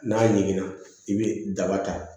N'a ɲiginna i bɛ daba ta